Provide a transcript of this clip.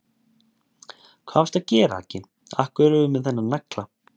Hvað varstu að gera, Aggi. af hverju ertu með þennan nagla?